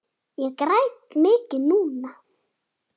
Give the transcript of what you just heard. Ég græt mikið núna.